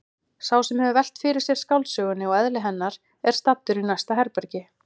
Sá sem hefur velt fyrir sér skáldsögunni og eðli hennar er staddur í næsta herbergi.